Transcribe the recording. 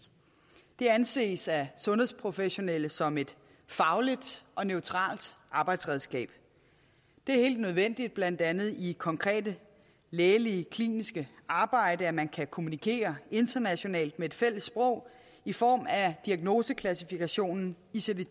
det anses af sundhedsprofessionelle som et fagligt og neutralt arbejdsredskab det er helt nødvendigt blandt andet i konkret lægeligt klinisk arbejde at man kan kommunikere internationalt på et fælles sprog i form af diagnoseklassifikationssystemet